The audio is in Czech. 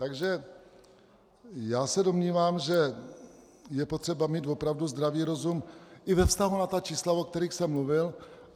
Takže já se domnívám, že je potřeba mít opravdu zdravý rozum i ve vztahu na ta čísla, o kterých jsem mluvil.